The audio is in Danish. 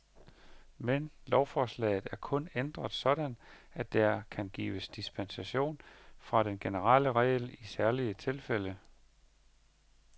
Men lovforslaget er kun ændret sådan, at der kan gives dispensation fra den generelle regel i særlige tilfælde.